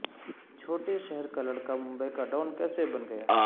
چھوٹے شہر کا لڑکا ممبئی کا ڈان کیسے بن گیا